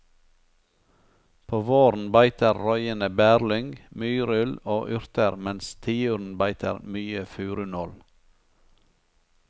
På våren beiter røyene bærlyng, myrull og urter mens tiuren beiter mye furunål.